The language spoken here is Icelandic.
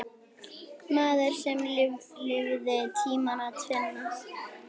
Maður sem lifði tímana tvenna.